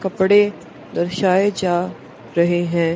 कपड़े दर्शाए जा रहे हैं।